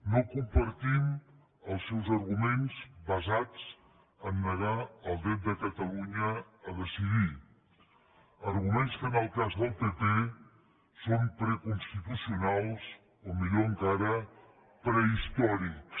no compartim els seus arguments basats en el fet de negar el dret de catalunya a decidir arguments que en el cas del pp són preconstitucionals o millor encara prehistòrics